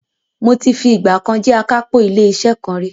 mo ti fi ìgbà kan jé akápò ilé iṣẹ kan rí.